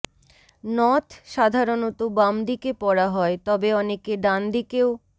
নথ সাধারনত বাম দিকে পরা হয় তবে অনেকে ডান দিকেও